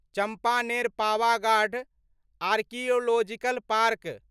Champaner Pavagadh archaeological park